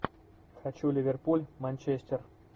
хочу ливерпуль манчестер